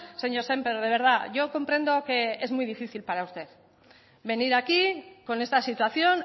señor sémper de verdad yo comprendo que es muy difícil para usted venir aquí con esta situación